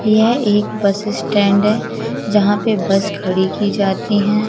यह एक bus stand है जहां पे बस खड़ी की जाती है।